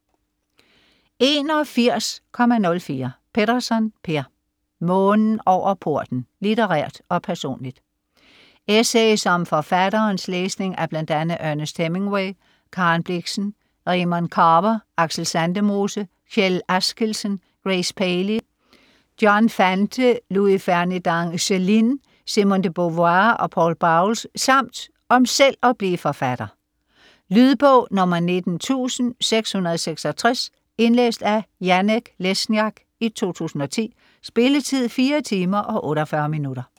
81.04 Petterson, Per: Månen over porten: litterært og personligt Essays om forfatterens læsning af bl.a. Ernest Hemingway, Karen Blixen, Raymond Carver, Aksel Sandemose, Kjell Askildsen, Grace Paley, John Fante, Louis-Ferninand Céline, Simone de Beauvoir og Poul Bowles, samt om selv at blive forfatter. Lydbog 19666 Indlæst af Janek Lesniak, 2010. Spilletid: 4 timer, 48 minutter.